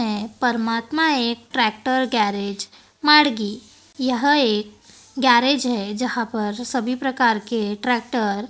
हैं परमात्मा एक ट्रैक्टर गैरेज माडगी यह एक गैरेज है जहां पर सभी प्रकार के ट्रैक्टर --